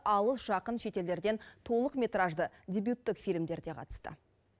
алыс жақын шетелдерден толықметражды дебюттік фильмдер де қатысты